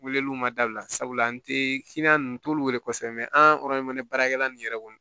Weleliw ma dabila sabula n te nunnu n t'olu wele ko an baarakɛla nin yɛrɛ kɔni